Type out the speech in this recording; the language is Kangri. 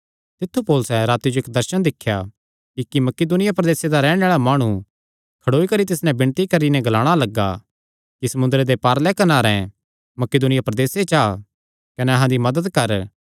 तित्थु पौलुसैं राती जो इक्क दर्शन दिख्या कि इक्क मकिदुनिया प्रदेसे दा रैहणे आल़ा माणु खड़ोई करी तिस नैं विणती करी नैं ग्लाणा लग्गा कि समुंदरे दे पारले कनारें मकिदुनिया प्रदेसे च आ कने अहां दी मदत कर